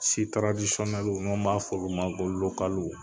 taradisiɔnɛluw ŋo ma f'olu ma ko lokaluw